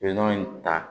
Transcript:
Nɔnɔ in ta